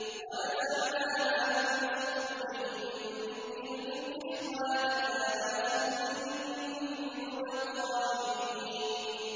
وَنَزَعْنَا مَا فِي صُدُورِهِم مِّنْ غِلٍّ إِخْوَانًا عَلَىٰ سُرُرٍ مُّتَقَابِلِينَ